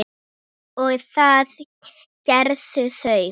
og það gerðu þau.